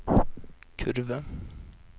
kurve